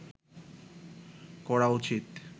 করা উচিত